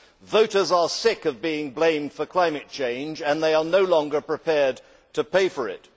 Voters are sick of being blamed for climate change and are no longer prepared to pay for it.